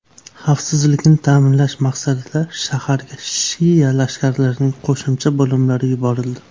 Xavfsizlikni ta’minlash maqsadida shaharga shia lashkarlarining qo‘shimcha bo‘limlari yuborildi.